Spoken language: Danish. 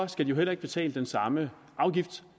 skal de jo heller ikke betale den samme afgift